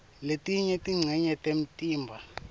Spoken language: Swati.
letinye tincenye temtimba